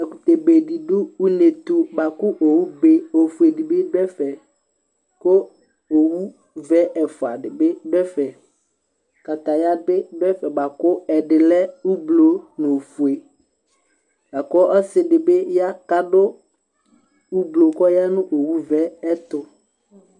Ɛkʋtɛ be dɩdʋ une ɛtʋ bʋakʋ owʋ be ofue dɩ bɩ dʋ ɛfɛ Kʋ owʋvɛ ɛfʋa dɩ bɩ dʋ ɛfɛ Kataya bɩ dʋ ɛfɛ bʋakʋ ɛdɩ lɛ ʋblʋ nʋ ofue, akʋ ɔsɩ dɩ bɩ ya kʋ adu ʋblʋ, kʋ ɔya nʋ owʋvɛ yɛ ɛtʋ